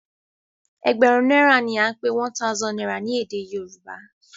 egberun naira ní a pé one thousand naira ní èdè yorùbá.